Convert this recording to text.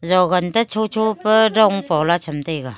togan ta chu chu pa dong paola cham tega.